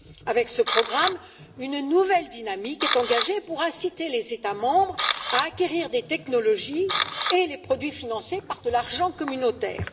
Avec ce programme, une nouvelle dynamique est engagée pour inciter les États membres à acquérir les technologies et les produits financés par de l'argent communautaire.